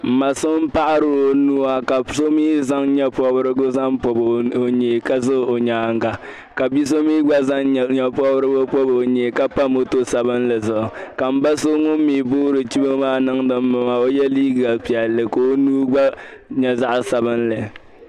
M ma so paɣiri o nuu a ka so zaŋ nyebpɔrigu zaŋ pɔb o nyee ka za o nyaaŋa ka bi'so mi gba zaŋ nyepɔrigu ka pa moto sabinli zuɣu ka ba so ŋʋni mi boori chibo niŋdi maa ka ye liiga piɛlli ka o nuu gba nyɛ zaɣ'sabinli